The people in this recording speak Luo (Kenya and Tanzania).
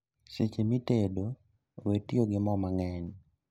Seche mitedo, wee tiyo gi moo mang'eny